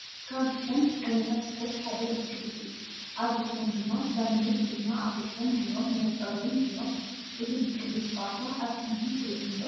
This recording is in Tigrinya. ካብ እቶም ዓይነታት ስፖርት ሓደ ብስክሌት እዩ። ኣብ ርእሶም ድማ ላምኔት ድማ ኣብ ርእሶም ገይሮም መነፀር እውን ገይሮ ።እዚ ብስክሌት ፀወታ ኣብ ቲቪ ሪኢኩም ዶ ?